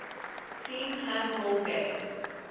team handball game